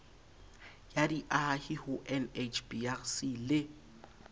ya diahi ho nhbrc le